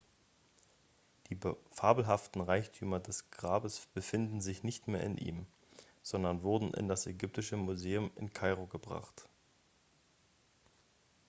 die fabelhaften reichtümer des grabes befinden sich nicht mehr in ihm sondern wurden in das ägyptische museum in kairo gebracht